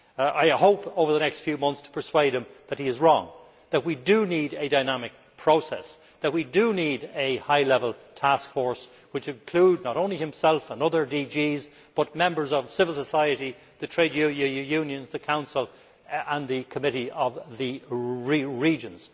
I hope, over the next few months, to persuade him that he is wrong, that we do need a dynamic process, that we do need a high level taskforce which includes not only himself and other DGs but members of civil society, the trade unions, the Council and the Committee of the Regions.